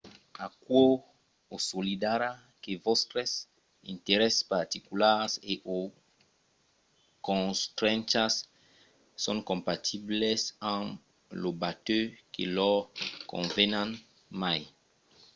aquò assolidarà que vòstres interèsses particulars e/o constrenchas son compatibles amb lo batèu que lor conven mai